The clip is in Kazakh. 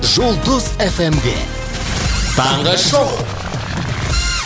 жұлдыз эф эм де таңғы шоу